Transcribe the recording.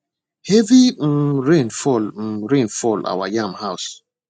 heavy um rain fall um rain fall our yam house